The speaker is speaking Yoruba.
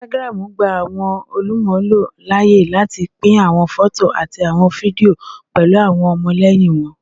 Instagram gba awọn olumulo laaye lati pin awọn fọto ati awọn fidio pẹlu awọn ọmọlẹyin wọn